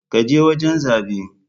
Ka je wajen zabe.